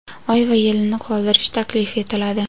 oy va yilini qoldirish taklif etiladi:.